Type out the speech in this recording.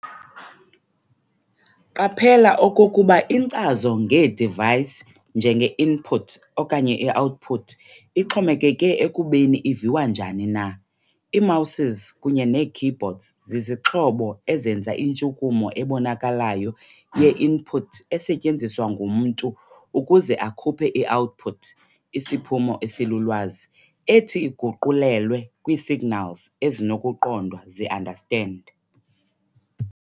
Qaphela okokuba inkcazo ngee-device njenge-input okanye i-output ixhomekeke ekubeni iviwa njani na. Ii-Mouses kunye nee-keyboards zizixhobo ezenza intshukumo ebonakalayo ye-input esetyenziswa ngumntu ukuze akhuphe i-output, isiphumo esilulwazi, ethi iguqulelwe kwii-signals ezinokuqondwa zii-understand.